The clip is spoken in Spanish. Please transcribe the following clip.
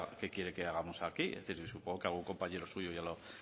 que quiere que hagamos aquí es decir supongo que algún compañero suyo ya lo